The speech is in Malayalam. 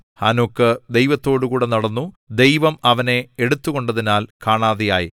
ഹാനോക്ക് ദൈവത്തോടുകൂടെ നടന്നു ദൈവം അവനെ എടുത്തുകൊണ്ടതിനാൽ കാണാതെയായി